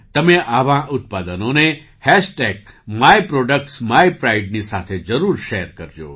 તમે આવાં ઉત્પાદનોને myproductsmypride ની સાથે જરૂર શૅર કરજો